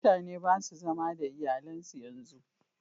Mutane ba su zama da iyalan su yanzu